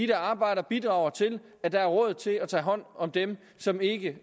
der arbejder bidrager til at der er råd til at tage hånd om dem som ikke